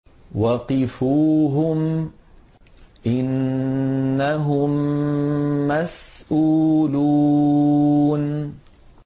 وَقِفُوهُمْ ۖ إِنَّهُم مَّسْئُولُونَ